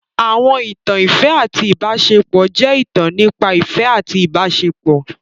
Àwọn ìtàn ìfẹ́ àti ìbáṣepọ̀ jẹ́ ìtàn nípa ìfẹ́ àti ìbáṣepọ̀.